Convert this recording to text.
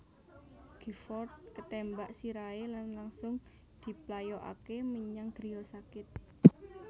Giffords ketémbak sirahé lan langsung diplayokaké menyang griya sakit